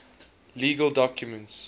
legal documents